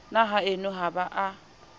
na haeno ha ba a